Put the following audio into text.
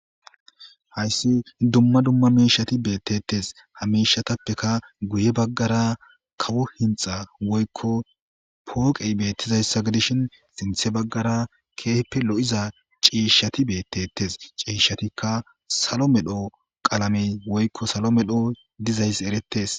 hayssi dumma dumma miishati beettettes hamishatappeka guye baggara kawo hinxa woykko pooqey beettizayssa gidishin sinthe baggara keehippe lo7iza ciishshati beettetes ciishshatikka salo medho qalamey woykko salo medho dizayss eretes